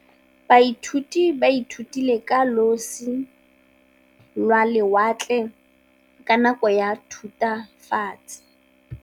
Baithuti ba ithutile ka losi lwa lewatle ka nako ya Thutafatshe.